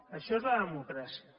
això és la democràcia